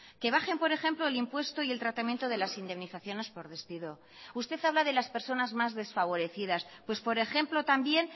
que bajen por ejemplo el impuesto y el tratamiento de las indemnizaciones por despido usted habla de las personas más desfavorecidas pues por ejemplo también